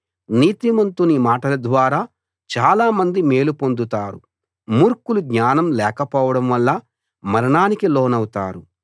నీతిమంతుని మాటల ద్వారా చాలా మంది మేలు పొందుతారు మూర్ఖులు జ్ఞానం లేకపోవడం వల్ల మరణానికి లోనవుతారు